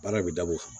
Baara bɛ dabɔ o kama